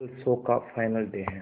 कल शो का final day है